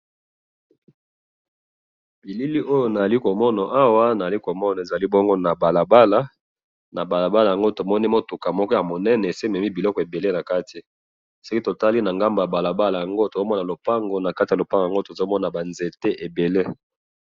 na bilili oyo nazali komona awa, nazali komona ezali bongo na balabala, na balabala yango tomoni mutuka moko ya munene, esi ebemi biloko ebele nakati, soki totali na ngambo ya balabala yango, tozomona lupango, nakati ya lupango yango tozomona ba nzete ebele